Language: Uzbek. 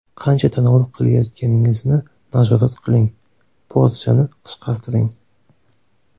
Qancha tanovul qilayotganingizni nazorat qiling, porsiyani qisqartiring.